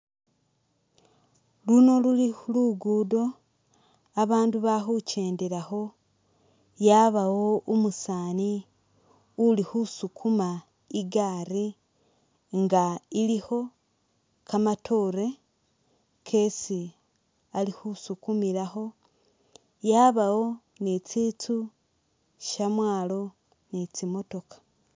Luno luli lukudo abandu bali khukyendelakho yabawo umusani uli khusukhuma igaari inga ilikho kamatore kesi ali khusukumilakho yabawo ni tsinsu shamwalo ni tsimotokha.